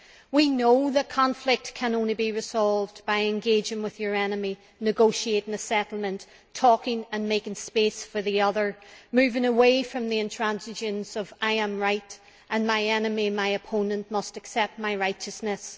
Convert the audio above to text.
We know that conflict can only be resolved by engaging with your enemy, negotiating a settlement, talking and making space for the other, moving away from the intransigence of I am right and my enemy, my opponent, must accept my righteousness'.